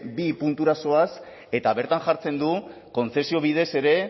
bi puntura zoaz eta bertan jartzen du kontzesio bidez ere